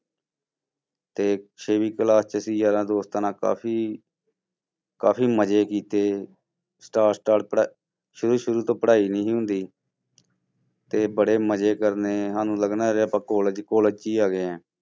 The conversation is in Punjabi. ਤੇ ਛੇਵੀਂ class 'ਚ ਅਸੀਂ ਯਾਰਾਂ ਦੋਸਤਾਂ ਨਾਲ ਕਾਫ਼ੀ ਕਾਫ਼ੀ ਮਜ਼ੇ ਕੀਤੇ ਸ਼ੁਰੂ ਸ਼ੁਰੂ ਤੋਂ ਪੜ੍ਹਾਈ ਨੀ ਸੀ ਹੁੰਦੀ ਤੇ ਬੜੇ ਮਜ਼ੇ ਕਰਨੇ ਸਾਨੂੰ ਲੱਗਣਾ ਕਿ ਆਪਾਂ college college 'ਚ ਹੀ ਆ ਗਏ ਹਾਂ।